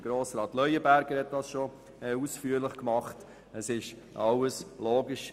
Das hat Grossrat Leuenberger bereits ausführlich getan, und sie sind logisch.